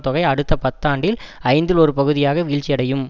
தொகை அடுத்த பத்தாண்டில் ஐந்தில் ஒரு பகுதியாக வீழ்ச்சியடையும்